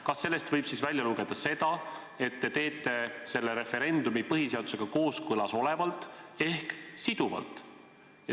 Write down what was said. Kas sellest võib välja lugeda, et te teete selle referendumi põhiseadusega kooskõlas olevalt ehk siduvalt?